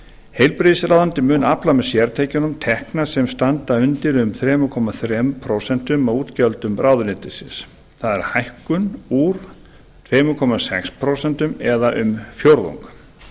heilbrigðisráðuneytið mun afla með sértekjunum tekna sem standa undir um þrjú komma þrjú prósent af útgjöldum ráðuneytisins það er hækkun úr tveimur komma sex prósent eða um fjórðung